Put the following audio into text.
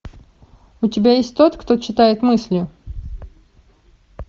у тебя есть тот кто читает мысли